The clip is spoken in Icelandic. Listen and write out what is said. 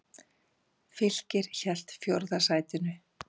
Fylkir hélt fjórða sætinu